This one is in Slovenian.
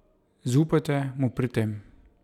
Zaupajte mu pri tem.